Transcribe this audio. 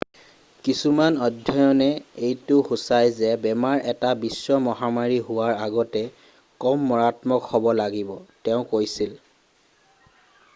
কিছুমান অধ্যয়নে এইটো সুচাই যে বেমাৰ এটা বিশ্ব মহামাৰী হোৱাৰ আগতে কম মাৰাত্মক হ'ব লাগিব তেওঁ কৈছিল